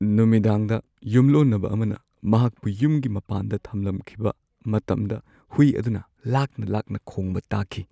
ꯅꯨꯃꯤꯗꯥꯡꯗ ꯌꯨꯝꯂꯣꯟꯅꯕ ꯑꯃꯅ ꯃꯍꯥꯛꯄꯨ ꯌꯨꯝꯒꯤ ꯃꯄꯥꯟꯗ ꯊꯝꯂꯝꯈꯤꯕ ꯃꯇꯝꯗ ꯍꯨꯏ ꯑꯗꯨꯅ ꯂꯥꯛꯅ-ꯂꯥꯛꯅ ꯈꯣꯡꯕ ꯇꯥꯈꯤ꯫